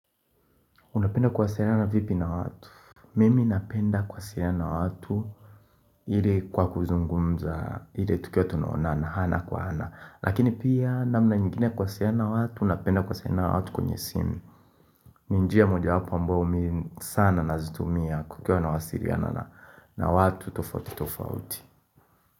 Unapenda kuwasiliana vipi na watu? Mimi napenda kuwasiana na watu ire kwa kuzungumza ile tukiwa tumeonana hana kwa hana Lakini pia namna nyingine kuwasiana na watu napenda kuwasiana na watu kwenye simu ni njia mojawapo ambao mimi sana nazitumia kukiwa nawasiriana na watu tofauti tofauti.